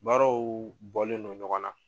Baaraw bɔlen don ɲɔgɔn na.